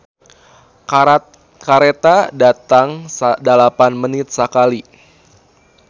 "Kareta datang dalapan menit sakali"